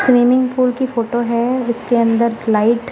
swimming pool की photo है और उसके अंदर स्लाइट --